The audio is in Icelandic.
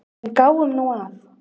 En gáum nú að.